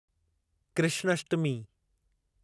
Krishnashtami